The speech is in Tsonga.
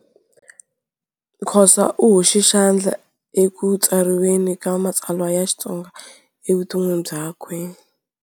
Khosa u hoxe xandla ekutsariweni ka matsalwa ya Xitsonga evuton'wini byakwe.